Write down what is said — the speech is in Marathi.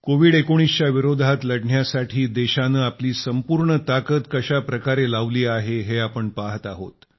कोविड19 च्या विरोधात लढण्यासाठी देशानं आपली संपूर्ण ताकद कशा प्रकारे लावली आहे हे आपण पहात आहोत